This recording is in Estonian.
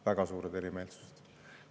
Väga suured erimeelsused!